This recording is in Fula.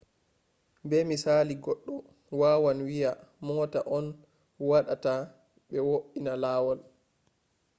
be misali goɗɗo wawan wiya mota on waɗata ɓe wo’ina lawol